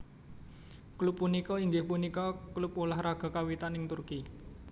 Klub punika inggih punika klub ulah raga kawiwitan ing Turki